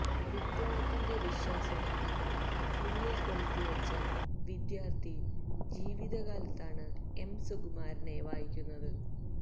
വിപ്ലവത്തിന്റെ വിശ്വാസനാളങ്ങള് ഉള്ളില് കൊളുത്തി വച്ച വിദ്യാര്ത്ഥി ജീവിതകാലത്താണ് എം സുകുമാരനെ വായിക്കുന്നത്